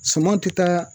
Suman tɛ taa